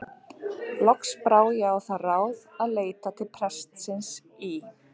Loks brá ég á það ráð að leita til prestsins í